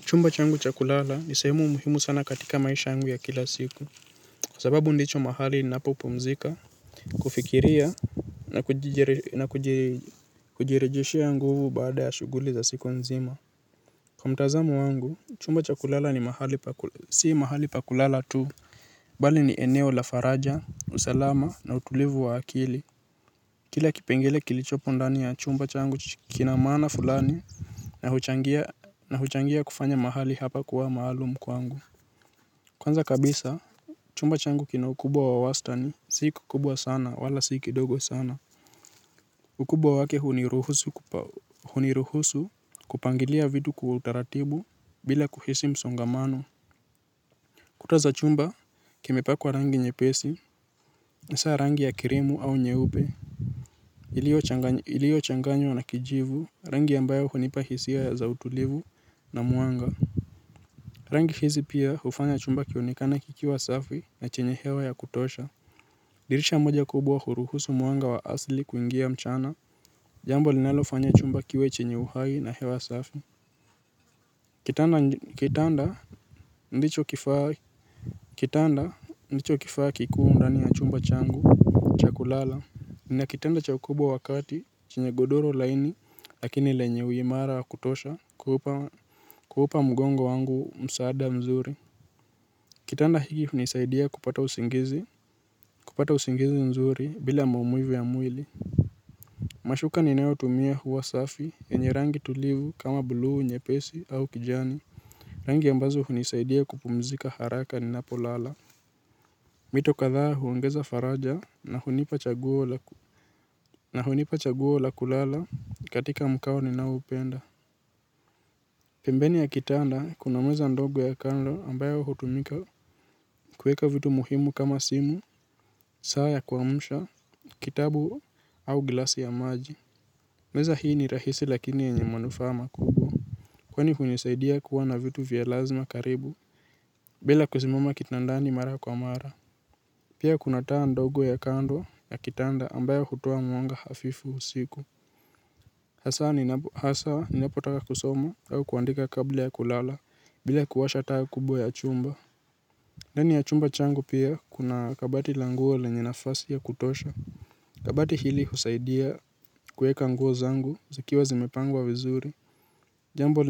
Chumba changu cha kulala ni sehemu muhimu sana katika maisha yangu ya kila siku. Kwa sababu ndicho mahali ninapopumzika, kufikiria, na kujirejeshea nguvu baada ya shughuli za siku nzima. Kwa mtazamo wangu, chumba cha kulala si mahali pa kulala tu, bali ni eneo la faraja, usalama na utulivu wa akili. Kila kipengele kilichopo ndani ya chumba changu kina maana fulani na huchangia kufanya mahali hapa kuwa maalumu kwangu. Kwanza kabisa, chumba changu kina ukubwa wa wastani; si kikubwa sana wala si kidogo sana. Ukubwa wake uniruhusu kupangilia vitu kwa utaratibu bila kuhisi msongamano. Kuta za chumba zimepakwa rangi nyepesi, kama rangi ya krimu au nyeupe. Iliyochanganywa na kijivu, rangi ambayo hunipa hisia ya utulivu na mwanga. Rangi hizi pia hufanya chumba kionekane kikiwa safi na chenye hewa ya kutosha. Dirisha moja kubwa huruhusu mwanga wa asili kuingia mchana. Jambo linalogfanya chumba kiwe chenye uhai na hewa safi kitanda ndicho kifaa kikuu ndani ya chumba changu cha kulala. Nina kitanda cha kawaida kikubwa chenye godoro laini lakini lenye uimara wa kutosha kuupa mgongo wangu msaada mzuri. Kitanda hiki hunisaidia kupata usingizi mzuri bila mamuivu ya mwili. Mashuka ninayotumia huwa safi na yenye rangi tulivu, kama buluu nyepesi au kijani. Rangi ambazo hunisaidia kupumzika haraka ninapolala mito kadhaa huongeza faraja na hunipa chaguo la na hunipa chaguo la kulala katika mkao ninaoupenda. Pembeni ya kitanda kuna meza ndogo ya kando ambayo hutumika kuweka vitu muhimu kama simu, saa ya kuamsha, kitabu au glasi ya maji. Meza hii ni rahisi lakini yenye manufaa makubwa. Kwani hunisaidia kuwa na vitu vya lazima karibu. Bila kusimama kitandani mara kwa mara pia kuna taa ndogo ya kando ya kitanda ambayo hutoa mwanga hafifu usiku, hasa ninapotaka kusoma au kuandika kabla ya kulala bila kuwasha taa kubwa ya chumba. Ndani ya chumba changu pia kuna kabati la nguo lenye nafasi ya kutosha. Kabati hili husaidia kuweka nguo zangu zikiwa zimepangwa vizuri. Jambo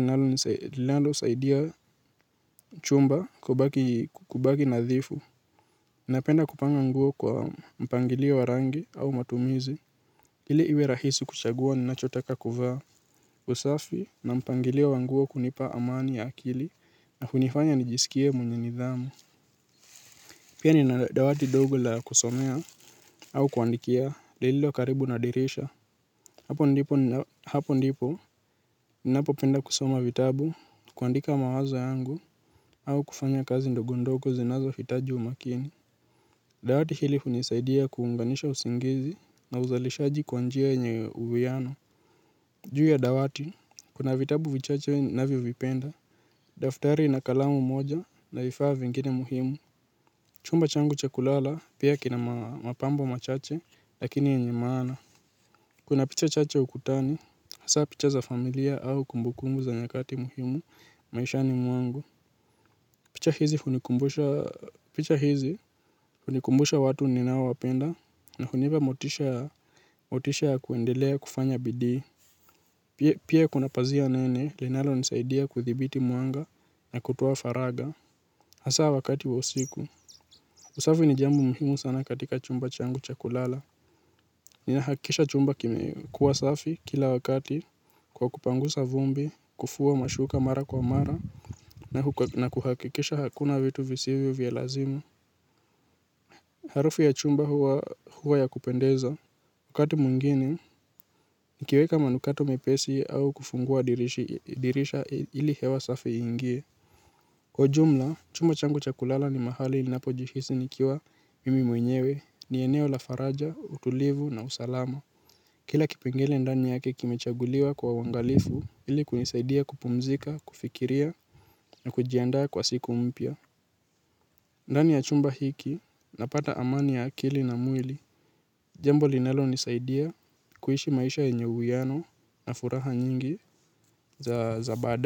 linalonisaidia chumba kubaki nadhifu napenda kupanga nguo kwa mpangilio wa rangi au matumizi ili iwe rahisi kuchagua ninachotaka kuvaa. Usafi na mpangilio wa nguo hunipa amani ya akili. Na hunifanya nijisikie mwenye nidhamu. Pia nina dawati dogo la kusomea au kuandikia. Lililo karibu na dirisha. Hapo ndipo ninapopenda kusoma vitabu. Kuandika mawazo yangu au kufanya kazi ndogondogo zinazohitaji umakini. Dawati hili hunisaidia kuunganisha usingizi na uzalishaji kwa njia nye uwiano. Juu ya dawati, kuna vitabu vichache ninavyovipenda. Daftari na kalamu moja na vifaa vingine muhimu. Chumba changu cha kulala pia kina mapambo machache, lakini yenye maana. Kuna picha chache ukutani, hasa picha za familia au kumbukumbu za nyakati muhimu maishani mwangu. Picha hizi hunikumbusha watu ninaowapenda na hunipa motisha ya kuendelea kufanya bidii. Pia kuna pazia nene linalonisaidia kudhibiti mwanga na kutoa faragha. Hasa wakati wa usiku. Usafi ni jambo muhimu sana katika chumba changu cha kulala. Ninahakikisha chumba kimekuwa safi kila wakati, kwa kupangusa vumbi, kufua mashuka mara kwa mara, na kuhakikisha hakuna vitu visivyo vya lazima. Harufu ya chumba huwa ya kupendeza. Wakati mwingine, nikiweka manukato mepesi au kufungua dirisha ili hewa safi iingie. Kwa jumla, chumba changu cha kulala ni mahali ninapojihisi nikiwa mimi mwenyewe; ni eneo la faraja, utulivu na usalama. Kila kipengele ndani yake kimechaguliwa kwa uangalifu ili kunisaidia kupumzika, kufikiria na kujiandaa kwa siku mpya. Ndani ya chumba hiki napata amani ya akili na mwili, jambo linalonisaidia kuishi maisha yenye uwiano na furaha nyingi za baadaye.